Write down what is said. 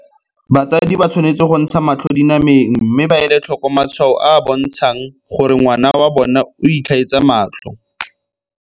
Batsadi ba tshwanetse go ntsha matlho dina meng mme ba ele tlhoko matshwao a a bontshang gore ngwana wa bona o itlhaetsa matlho.